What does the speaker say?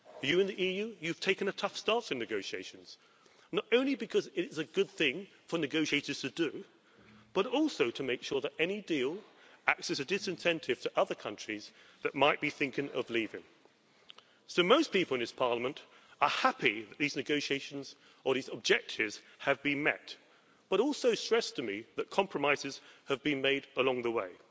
You in the EU have taken a tough stance in negotiations, not only because it is a good thing for negotiators to do, but also to make sure that any deal acts as a disincentive to other countries that might be thinking of leaving. Most people in this Parliament are happy that these negotiations or these objectives have been met, but have also stressed to me that compromises have been made along the way.